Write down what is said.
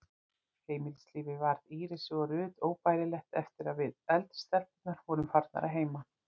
Heimilislífið varð Írisi og Ruth óbærilegt eftir að við, eldri stelpurnar, vorum farnar að heiman.